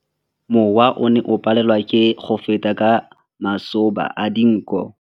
Mowa o ne o palelwa ke go feta ka masoba a dinko.